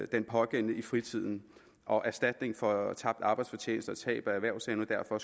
den pågældende i fritiden og erstatning for tabt arbejdsfortjeneste og tab af erhvervsevne derfor